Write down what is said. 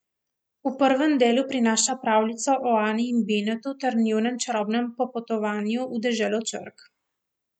V prvem delu prinaša pravljico o Ani in Binetu ter njunem čarobnem popotovanju v deželo črk.